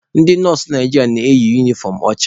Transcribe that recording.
Ndị nọọsụ Naijiria na-eyi unifọm ọcha.